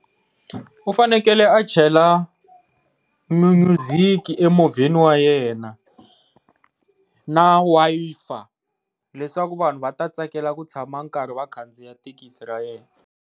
U fanekele a chela mi music emovheni wa yena na Wi-Fi leswaku vanhu va ta tsakela ku tshama karhi va khandziya thekisi ya yena.